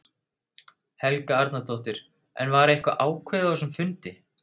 Helga Arnardóttir: En var eitthvað ákveðið á þessum fundi?